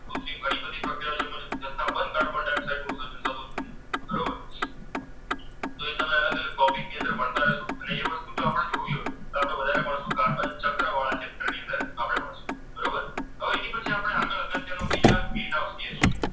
gas હોય